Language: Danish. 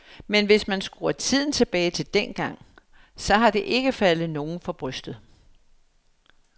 Men hvis man skruer tiden tilbage til dengang, så har det ikke faldet nogen for brystet.